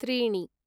त्रीणि